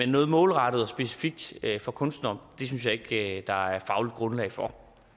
noget målrettet og specifikt for kunstnere synes jeg ikke der er fagligt grundlag for